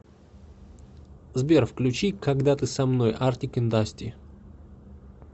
сбер включи когда ты со мной артик энд асти